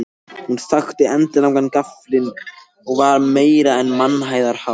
Hún þakti endilangan gaflinn og var meira en mannhæðar há.